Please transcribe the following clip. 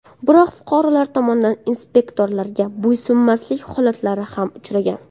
Biroq, fuqarolar tomonidan inspektorlarga bo‘ysunmaslik holatlari ham uchragan.